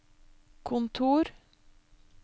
kontor